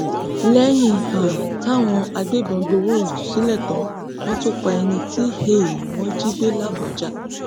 lẹyìn um táwọn agbébọn gbowó ìtúsílẹ tán wọn tún pa ẹni tí um wọn jí gbé làbójà